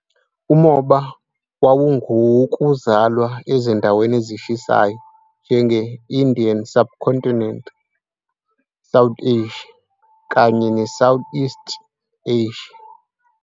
Umoba wawungowokuzalwa ezindaweni ezishisayo njenge-Indian subcontinent, South Asia, kanye ne-Southeast Asia.